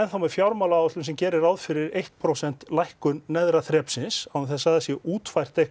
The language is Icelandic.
með fjármálaáætlun sem gerir ráð fyrir eitt prósent lækkun neðra þrepsins án þess að það séu útfærðar